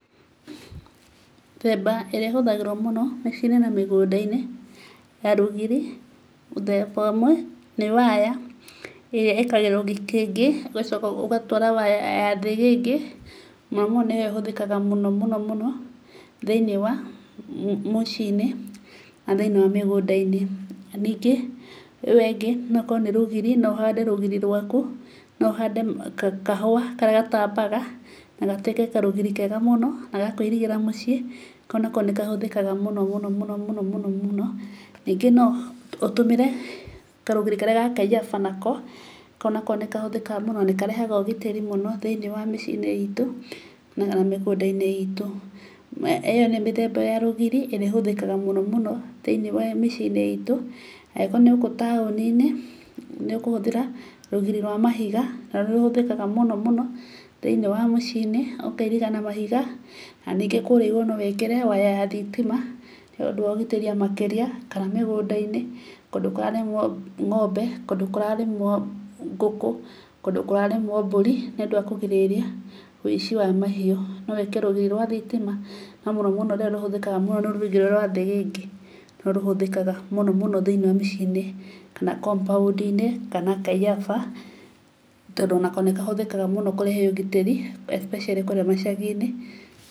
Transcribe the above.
Mĩthemba ĩrĩa ĩhũthagĩrwo mũno mĩciĩ-inĩ na mĩgũnda-inĩ ya rũgiri; muthemba ũmwe nĩ waya ĩrĩa ĩkagĩrwo gĩkĩngĩ, ũgacoka ũgatwara waya ya thĩgĩngĩ, mũno mũno nĩyo ĩhũthĩkaga mũno mũno mũno thĩ-inĩ wa mũciĩ-inĩ na thĩ-inĩ wa mĩgũnda-inĩ. Na ningĩ ĩyo ĩngĩ no ĩkorwo ni rũgiri, no ũhande rũgiri rwaku. No ũhande kahũa karĩa gatambaga, na gatuĩke karũgiri kega mũno na gakũirigĩra muciĩ. Kau nako nĩkahũthĩkaga mũno mũno mũno mũno mũno. Ningĩ no ũtũmĩre karũgiri karĩa ga kaiyaba nako. Kau nako nĩkahũthĩkaga mũno, na karehaga ũgitĩri mũno thĩ-ini wa mĩciĩ-inĩ itũ, na mĩgũnda-inĩ itũ. Ĩyo nĩyo mĩthemba ya rũgiri ĩrĩa ĩhũthĩkaga mũno mũno thĩ-ini wa mĩciĩ-inĩ itũ. Angĩkorwo nĩ gũkũ taũni-inĩ, nĩũkũhũthĩra rũgiri rwa mahiga. Naruo nĩũhũthĩkaga mũno mũno thĩ-inĩ wa mĩciĩ-nĩ. Ũkairiga na mahiga. Na ningĩ kũrĩa igũrũ no wĩkĩre waya ya thitima nĩundũ wa ũgitĩri makĩrĩa, kana mĩgũnda-inĩ, kũndũ kũrarĩmwo ng'ombe, kũndũ kũrarĩmwo ngũkũ, kũndũ kũrarĩmwo mbũri nĩũndũ wa kũgirĩrĩria ũici wa mahiũ. No wĩkĩre rũgiri rwa thitima, no mũno mũno rũrĩa rũhũthĩkaga mũno nĩ rũgiri rwa thĩgĩngĩ, nĩruo rũhũthĩkaga mũno mũno thĩ-inĩ wa mĩciĩ-inĩ, kana compound inĩ, kana kaiyaba, tondũ onako nĩkahũthĩkaga mũno kũrehe ũgitĩri, especially kũũrĩa macagi-inĩ.